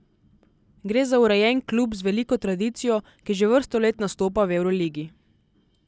Gre za urejen klub z veliko tradicijo, ki že vrsto let nastopa v evroligi.